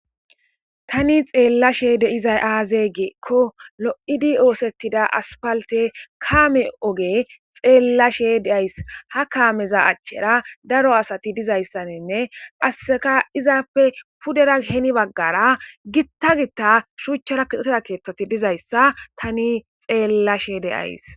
tani xeellashe deizay aaze geekko lo7idi oosettida aspalte kaame oge xeellashe deays ha kaameza achchera daro asati dizayssaninne asseka izaappe pudera geni baggara gitta gitta shuuchchara koxoteda keeththati dizayssa tani xeellashee deyays